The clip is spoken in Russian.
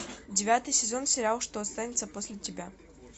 девятый сезон сериала что останется после тебя